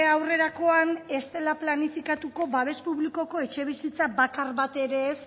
aurrerakoan ez dela planifikatuko babes publikoko etxebizitza bakar bat ere ez